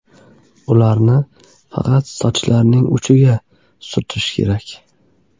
Ularni faqat sochlarning uchiga surish kerak.